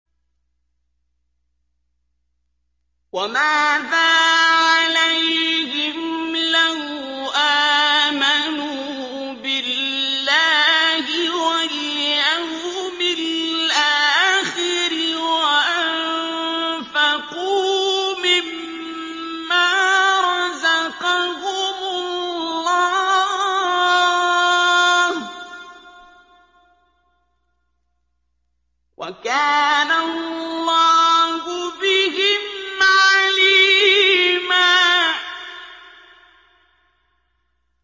وَمَاذَا عَلَيْهِمْ لَوْ آمَنُوا بِاللَّهِ وَالْيَوْمِ الْآخِرِ وَأَنفَقُوا مِمَّا رَزَقَهُمُ اللَّهُ ۚ وَكَانَ اللَّهُ بِهِمْ عَلِيمًا